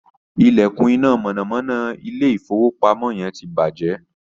ilekun iná mọ̀nàmọ́ná ilé ìfowópamọ́ yen tí bàjé